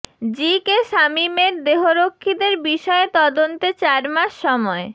জি K শামীমের দেহরক্ষীদের বিষয়ে তদন্তে চার মাস সময়